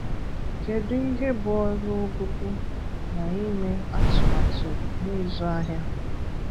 Kedu ihe bụ ọrụ Ụgụgụ na ime àtùmàtù na ịzụ ahịa?